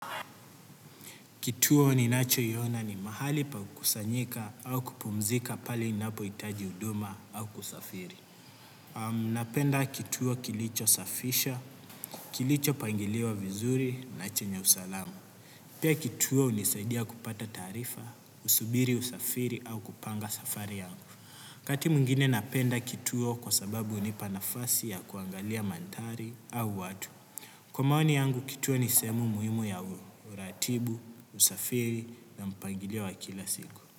Kituo ninachoiona ni mahali pa kusanyika au kupumzika pale inapo nitajihuduma au kusafiri. Napenda kituo kilichosafisha, kilichopangiliwa vizuri na chenye usalamu. Pia kituo hunisaidia kupata taarifa, kusubiri usafiri au kupanga safari yangu. Wakati mwingine napenda kituo kwa sababu hunipa nafasi ya kuangalia mandhari au watu. Kwa maoni yangu, kituo ni sehemu muhimu ya uratibu, usafiri na mpangilio wa kila siku.